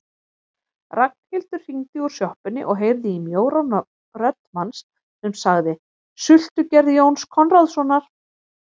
Ragnhildur hringdi úr sjoppunni og heyrði í mjóróma rödd manns sem sagði: Sultugerð Jóns Konráðssonar